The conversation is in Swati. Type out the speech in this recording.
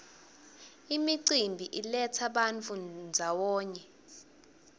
imicimbi iletsa bantfu ndzawonye